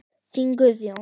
Þinn Guðjón.